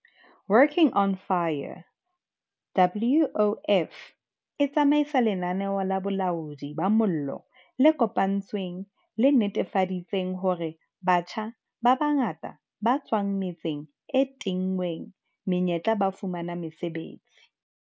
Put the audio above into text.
Working on Fire, WOF, e tsamaisa lenaneo la bolaodi ba mollo le kopanetsweng le netefaditseng hore batjha ba bangata ba tswang metseng e tinngweng menyetla ba fumana mosebetsi.